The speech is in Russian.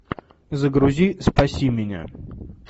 загрузи спаси меня